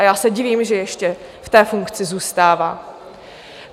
A já se divím, že ještě v té funkci zůstává.